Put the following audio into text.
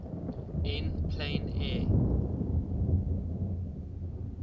en plein air